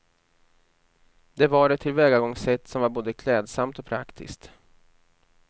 Det var ett tillvägagångssätt som var både klädsamt och praktiskt.